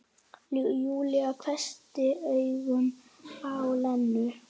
Júlía hvessti augun á Lenu.